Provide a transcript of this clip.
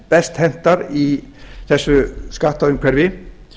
best hentar í þessu skattaumhverfi